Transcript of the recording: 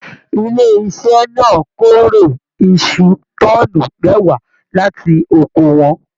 Ilé iṣẹ náà k'ore iṣu tọ́ọ́nú mẹwa láti oko wọn.